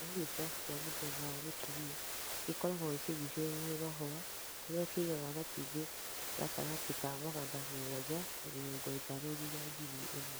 Kĩhuruta kĩa mũthemba wa mũtumia gĩkoragwo gĩkĩgucĩrĩirio nĩ mahũa kũrĩa kĩigaga matumbĩ gatagatĩ ka magana mũgwanja na mĩrongo ĩtano nginya ngiri ĩmwe.